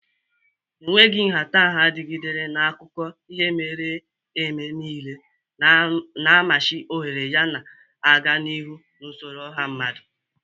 Enweghị nhatanha dịgidere n'akụkọ ihe mere eme niile, na-amachi ohere yana na-aga n'ihu n'usoro ọha mmadụ.